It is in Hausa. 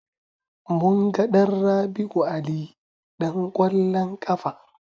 Munga ɗan Rabi'u Ali ɗan ƙwallon ƙafa.